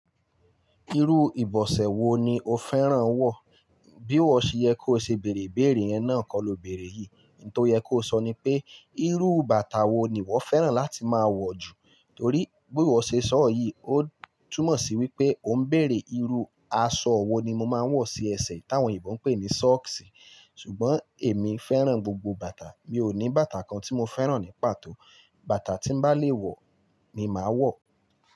Irú ìbọ̀sẹ̀ wo ni ó fẹ́ràn wọ̀? Bí wọ̀ ṣe yẹ kó ṣe bèrè ìbéèrè yẹn náà kọ́ lọ berè yìí. Ihun tó yẹ kó sọ ni pé, irú bàtà wo ni wọ fẹ́ràn láti máa wọ̀ jù? Torí bí iwọ̀ ṣe sọ yìí, ó túnmọ̀ sí wípé ó ń bèrè irú aṣọ wo ni mo máa ń wọ̀ sí ẹsẹ̀ táwọn eleyinbo ń pè ní "sọ́cks". Ṣùgbọ́n èmi fẹ́ràn gbogbo bàtà. Mi ò ní bàtà kan tí mo fẹ́ràn ní pàtó. Bàtà tí m'bá lè wọ̀, ni màá wọ̀.